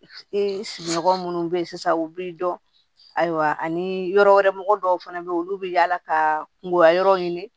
Ee sigiɲɔgɔn munnu be yen sisan u b'i dɔn ayiwa ani yɔrɔ wɛrɛ mɔgɔ dɔw fana bɛ yen olu bɛ yaala ka kungoya yɔrɔ ɲini